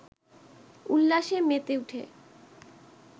উল্লাসে মেতে উঠে